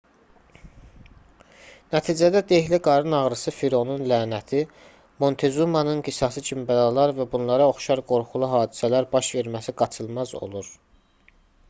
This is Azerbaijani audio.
nəticədə dehli qarın ağrısı fironun lənəti montezumanın qisası kimi bəlalar və bunlara oxşar qorxulu hadisələr baş verməsi qaçılmaz olur